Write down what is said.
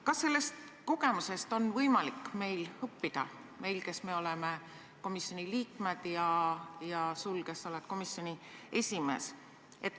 Kas sellest kogemusest on meil võimalik õppida – meil, kes me oleme komisjoni liikmed, ja sul, kes sa oled komisjoni esimees?